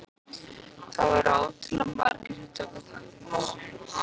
Það voru ótrúlega margir sem tóku þátt í þessu.